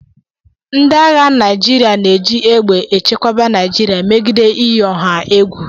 Ndị agha Naịjirịa na-eji egbe echekwa Naịjirịa megide iyi ọha egwu